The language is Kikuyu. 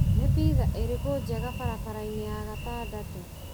Nĩ pitha ĩrĩkũ njega barabara-inĩ ya gatandatũ?